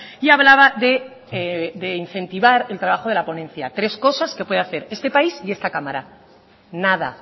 y hablaba de incentivar el trabajo de la ponencia tres cosas que puede hacer este país y esta cámara nada